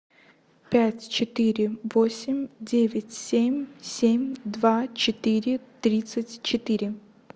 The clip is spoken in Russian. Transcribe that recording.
пять четыре восемь девять семь семь два четыре тридцать четыре